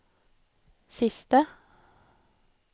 siste